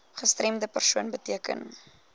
gestremde persoon beteken